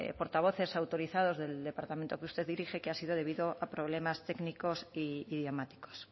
portavoces autorizados del departamento que usted dirige que ha sido debido a problemas técnicos e idiomáticos